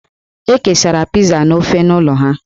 E kesara Pizaa na ofe n'ụlọ ha.